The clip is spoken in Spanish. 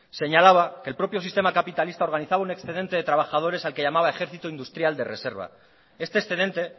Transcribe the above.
señalaba que el propio sistema capitalista organizaba un excedente de trabajadores al que llamaba ejercito industrial de reserva este excedente